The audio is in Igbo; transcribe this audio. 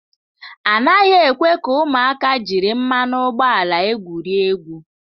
A naghị ekwe ka ụmụaka jiri mmanụ ụgbọala egwurie egwu.